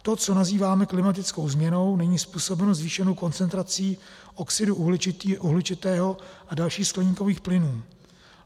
To, co nazýváme klimatickou změnou, není způsobeno zvýšenou koncentrací oxidu uhličitého a dalších skleníkových plynů.